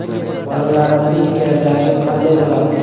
Bolalarimning kelajagi qanday bo‘ladi?